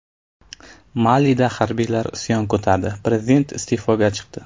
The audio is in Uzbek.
Malida harbiylar isyon ko‘tardi, prezident iste’foga chiqdi.